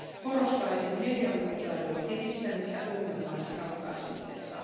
Korostaisin medialukutaidon edistämistä ongelman ratkaisemisessa.